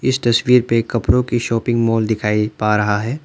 इस तस्वीर पे कपड़ों की शॉपिंग मॉल दिखाई पा रहा है।